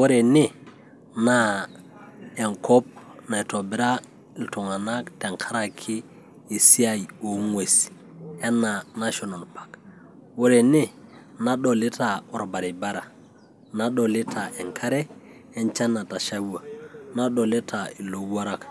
Ore ene naa enkop naitobirra iltung'anak tenkaraki esiai oo ng'uesi enaa National park, ore ene nadolita orbaribara, nadolita enkare enchan natashawua nadolita ilowuarrak,